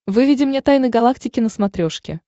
выведи мне тайны галактики на смотрешке